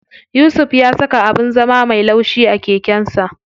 Yusuf ya saka abin zama me laushi a keken sa.